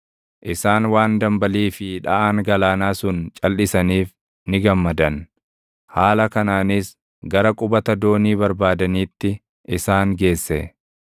Isaan waan dambalii fi dhaʼaan galaanaa sun calʼisaniif ni gammadan; haala kanaanis gara qubata doonii barbaadaniitti isaan geesse.